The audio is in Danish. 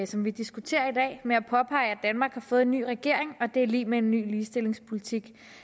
som vi diskuterer i med at påpege at danmark har fået en ny regering og at det er lig med en ny ligestillingspolitik